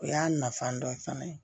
O y'a nafan dɔ ye fana